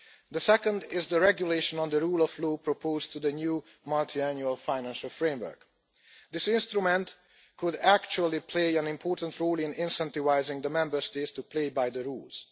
The second is the Regulation on the Rule of Law proposed for the new Multiannual Financial Framework. This instrument could actually play an important role in incentivising the Member States to play by the rules.